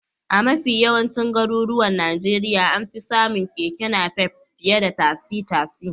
A mafi yawancin garuruwan Najeriya an fi samun Keke Napep fiye da tasi-tasi.